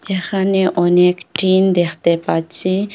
এখানে অনেক টিন দেখতে পাচ্ছি।